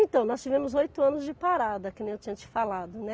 Então, nós tivemos oito anos de parada, que nem eu tinha te falado, né?